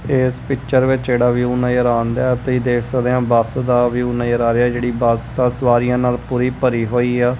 ਏਸ ਪਿੱਚਰ ਵਿੱਚ ਜਿਹੜਾ ਵਿਊ ਨਜ਼ਰ ਆਣਦਿਐ ਤੁਹੀ ਦੇਖ ਸਕਦੇ ਆਂ ਬੱਸ ਦਾ ਵਿਊ ਨਜ਼ਰ ਆ ਰਿਹਾ ਐ ਜਿਹੜੀ ਬੱਸ ਆ ਸਵਾਰੀਆਂ ਨਾਲ ਪੂਰੀ ਭਰੀ ਹੋਈ ਆ।